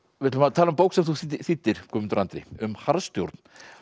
við ætlum að tala um bók sem þú þýddir Guðmundur Andri um harðstjórn